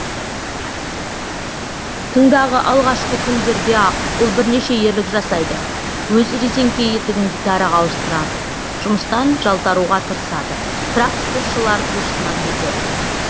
тыңдағы алғашқы күндерде ақ ол бірнеше ерлік жасайды өз резеңке етігін гитараға ауыстырады жұмыстан жалтаруға тырысады тракторшылар курсынан кетеді